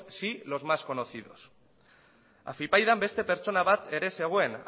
sí los más conocidos afypaidan beste pertsona bat ere zegoen